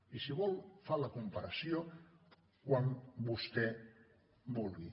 i si vol fa la comparació quan vostè vulgui